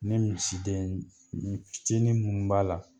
Ni misidennin fitini munnu b'a la